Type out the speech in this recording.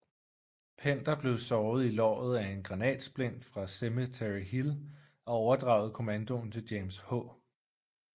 Pender blev såret i låret af en granatsplint fra Cemetery Hill og overdragede kommandoen til James H